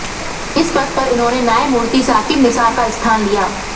इस पद पर इन्होंने न्यायमूर्ति साकिब निसार का स्थान लिया